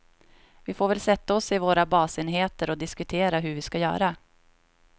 Vi får väl sätta oss i våra basenheter och diskutera hur vi ska göra.